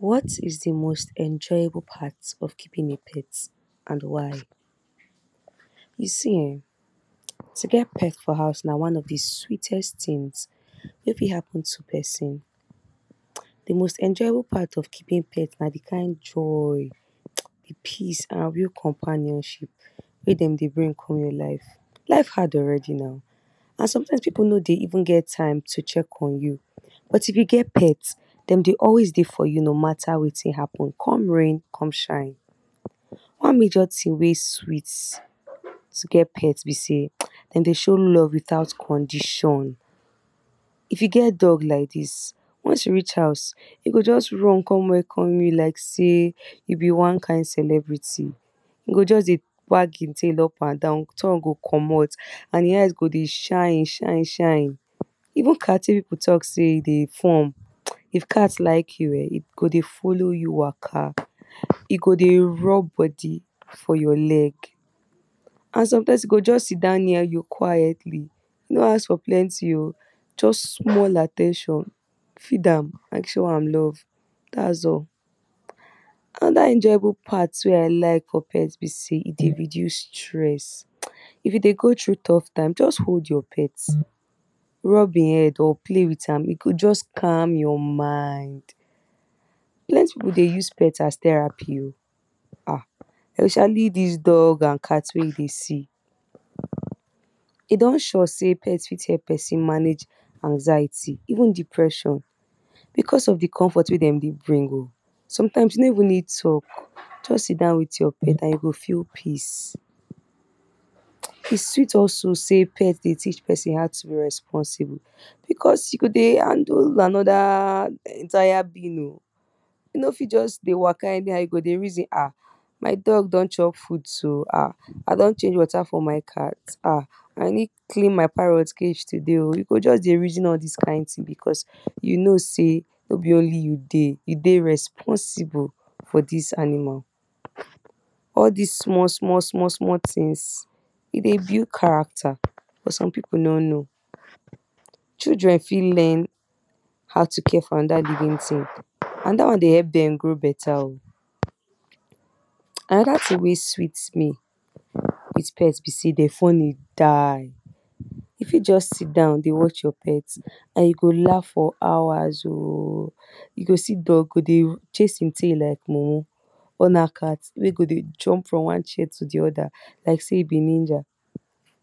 What is di most enjoyable part of keeping a pet and why. You see um to get pet for house na one of de sweetest things wey fit happen to person de most enjoyable part of keeping pet na di kind joy peace and real companionship wey dem dey bring come your life, life hard already na and sometimes pipu nor dey even dey get time to check on you but if you get pet dem dey always dey for you no matter wetin happen come rain come shine one major thing wey sweet to get pet be sey dem dey show love without condition if you get dog like dis when you reach house e just run come welcome you like sey you be one kind celebrity e go just dey wag e tail up and down tongue go commot and e eyes go dey shine shine even cat wey pipu talk say e dey form if cat like you um e go dey follow you waka e go dey rub body for your leg and sometimes e go just sit down near you quietly e nor ask for plenty oh just small at ten tion feed am and show am love and dat is all anoda enjoyable part wey I like for pet be sey e dey reduce stress if you dey go through tough time just hold your pet rub e head or play with am e go just calm your mind. Plenty pipu dey use pet as therapy oh um especially dis dog and cat wey you dey see e don sure sey pet fit help person manage anxiety even depression because of di comfort wey dem dey bring oh sometimes you nor even need talk just sit down with your pet and you go feel peace e sweet also pet dey teach person how to responsible because you go dey handle another entire being oh you fit just dey waka anyhow you go dey reason um my dog don chop food so um I don change water for my cat[um] I need clean my parrot cage today oh you go just dey reason all dis kind because you know sey nor be only you dey you dey responsible for dis animal all dis small small small things e dey build character but some pipu no know children fit learn how to care for another living thing and dat wan dey help dem grow better anoda thing wey sweet me with pet be sey dem funny die you nfit just sit down dey watch your pet and you go laugh for hours oh you see dog go chase e tail like mumu or na cat wey go jump from one chair to di other like sey e be ninja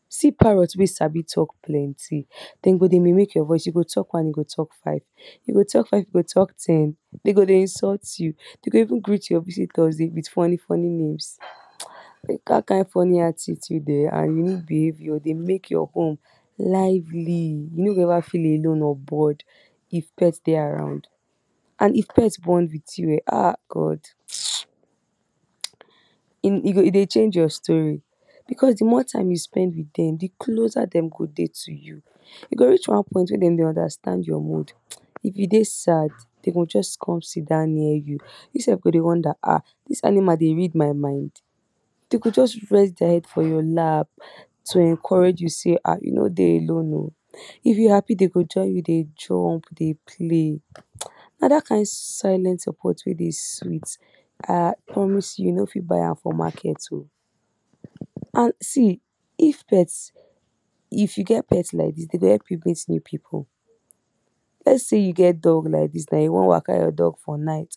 see parrot sabi talk plenty dem go dey mimic your voice you go talk one e talk five you go five e go talk ten e go dey insult you e go even greet your visitors with funny funny names dat kind funny attitude um and unique behaviour dem make your home lively you nor go ever feel alone or bored if pet dey around and if pet bond with you[um] God [hiss] e, e dey change your story because de more time wey you spend dem de closer dem go dey to you e go reach one point wey dem go understand your mood if you dey sad dem go just come sit down near you you self go dey wonder um dis animal dey read my mind dem go just rest their head for your lap to encourage you sey um you nr dey alone oh if dey happy dem go join you dey jump dey go dey play na dat kind silent support wey dey sweet um I promise you, you nor fit buy am for market oh. And, see if pet if you get pet like dis dem go help you let say you get dog like dis and you wan waka your dog for night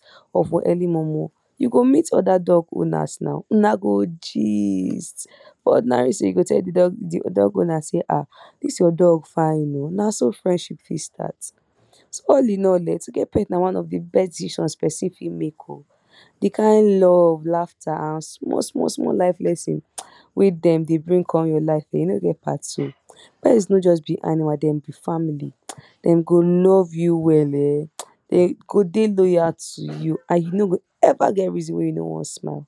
you go meet other dogs owners una go gist ordinary say you go tell dey dog owners sey um dis your fine oh na so friendship take start all in all um to get pet na of de best decision person fit make oh de kind love laughter small small small life lesson wey dem dey bring come your life e nor get part two pet nor just be animal dem be family dem go love you well[um] dey loyal to you you go ever get reason wey nor wan smile.